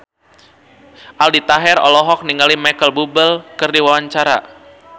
Aldi Taher olohok ningali Micheal Bubble keur diwawancara